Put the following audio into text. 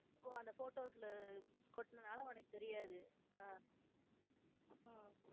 ஓ அந்த photos ல கொட்டுனனால அவனுக்கு தெரியாது. அஹ் உம்